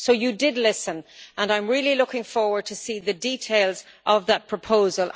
So you did listen, and I am really looking forward to seeing the details of that proposal.